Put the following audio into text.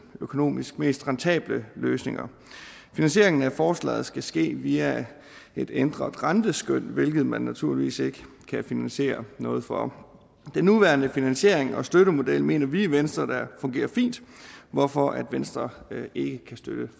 økonomisk mest rentable løsninger finansieringen af forslaget skal ske via et ændret renteskøn hvilket man naturligvis ikke kan finansiere noget for den nuværende finansiering og støttemodel mener vi i venstre fungerer fint hvorfor venstre ikke kan støtte